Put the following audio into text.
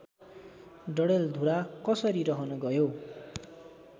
डडेलधुरा कसरी रहन गयो